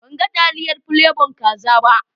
Ban gan taliyar plebon kaza ba.